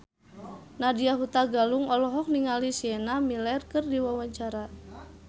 Nadya Hutagalung olohok ningali Sienna Miller keur diwawancara